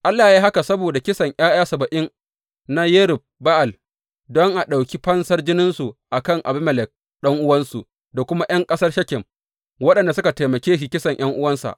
Allah ya yi haka saboda kisan ’ya’ya saba’in na Yerub Ba’al, don a ɗauki fansar jininsu a kan Abimelek ɗan’uwansu da kuma ’yan ƙasar Shekem, waɗanda suka taimake shi kisan ’yan’uwansa.